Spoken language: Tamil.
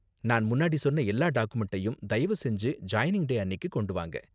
நான் முன்னாடி சொன்ன எல்லா டாக்குமெண்டையும் தயவு செஞ்சு ஜாயினிங் டே அன்னிக்கு கொண்டு வாங்க.